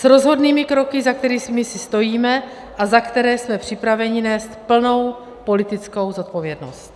S rozhodnými kroky, za kterými si stojíme a za které jsme připraveni nést plnou politickou zodpovědnost.